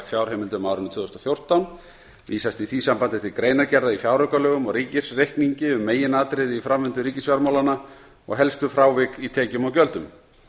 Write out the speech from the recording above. fjárheimildum á árinu tvö þúsund og fjórtán vísast í því sambandi til greinargerða í fjáraukalögum og ríkisreikningi um meginatriði í framvindu ríkisfjármálanna og helstu frávik í tekjum og gjöldum